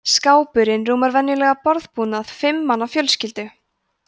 skápurinn rúmar venjulegan borðbúnað fimm manna fjölskyldu